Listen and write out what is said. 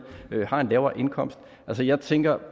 har en lavere indkomst altså jeg tænker